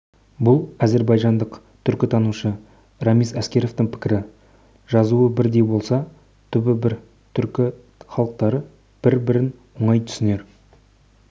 бұл әзербайжандық түркітанушы рамиз аскеровтің пікірі жазуы бірдей болса түбі бір түркі халықтары бір-бірін оңай түсінер